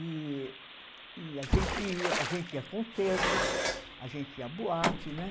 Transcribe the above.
E e a gente ia, a gente ia a concertos, a gente ia à boate, né?